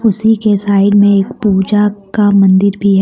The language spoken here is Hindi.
उसी के साइड में एक पूजा का मंदिर भी है।